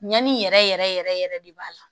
Ɲani yɛrɛ yɛrɛ yɛrɛ de b'a la